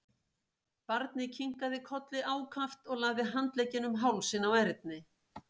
Barnið kinkaði kolli ákaft og lagði handleggina um hálsinn á Erni.